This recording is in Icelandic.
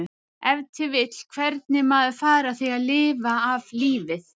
Ef til vill hvernig maður fari að því að lifa af lífið?